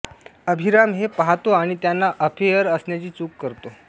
अभिराम हे पाहतो आणि त्यांना अफेअर असण्याची चूक करतो